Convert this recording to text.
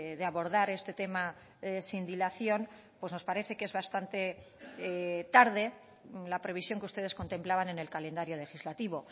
de abordar este tema sin dilación pues nos parece que es bastante tarde la previsión que ustedes contemplaban en el calendario legislativo